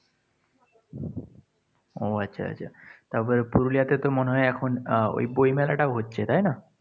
ও আচ্ছা, আচ্ছা। তবে পুরুলিয়াতেতো মনে হয় এখন আহ ওই বই মেলাটাও হচ্ছে, তাই না?